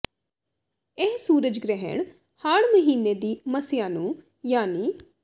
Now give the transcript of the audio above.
ਇਹ ਸੂਰਜ ਗ੍ਰਹਿਣ ਹਾੜ੍ਹ ਮਹੀਨੇ ਦੀ ਮੱਸਿਆ ਨੂੰ ਯਾਨੀ